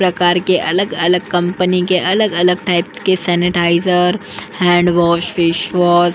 प्रकार के अलग अलग कंपनी के अलग-अलग टाइप के सैनिटाइज़र हैंडवॉश फेसवॉश --